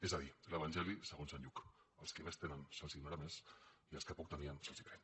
és a dir l’evangeli segons sant lluc als qui més tenen se’ls donarà més i als que poc tenien se’ls pren